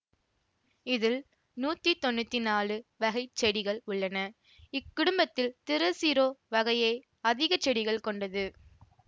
இதில் நூத்தி தொன்னூத்தி நாலு வகை செடிகள் உள்ளன இக்குடும்பத்தில் திரசிரோ வகையை அதிகச் செடிகளைக் கொண்டது